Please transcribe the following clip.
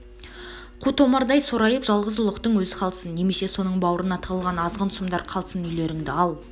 қу томардай сорайып жалғыз ұлықтың өз қалсын немесе соның бауырына тығылған азғын сұмдар қалсын үйлеріңді ал